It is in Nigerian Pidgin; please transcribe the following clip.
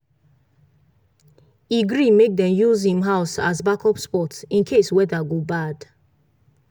e gree make dem use him house as backup spot in case weather go bad.